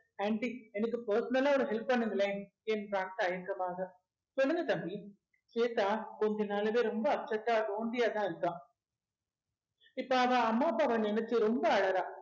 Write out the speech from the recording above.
aunty எனக்கு personal ஆ ஒரு help பண்ணுங்களேன் என்றான் தயங்கமாக சொல்லுங்க தம்பி ஸ்வேதா கொஞ்ச நாளாவே ரொம்ப upset ஆ lonely யாதான் இருக்கா இப்ப அவ அம்மா அப்பாவை நினைச்சு ரொம்ப அழறா